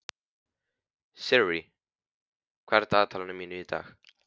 Sirrí, hvað er í dagatalinu mínu í dag?